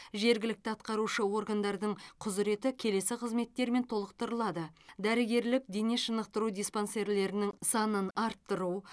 жергілікті атқарушы органдардың құзыреті келесі қызметтермен толықтырылады дәрігерлік дене шынықтыру диспансерлерінің санын арттыру